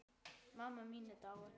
Mamma mín er dáin.